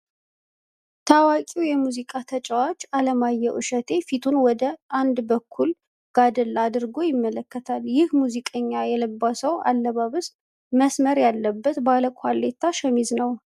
ታዋቂ የሙዚቃ ተጫዋች አለማየሁ እሸቴ ፊቱን ወደ አንድ በኩል ጋደል አድርጎ ይመለከታል። ይህ ሙዚቀኛ የለበሰው አለባበስ መስመር ያለበት ባለ ኳሌታ ሸሚዝ ነው።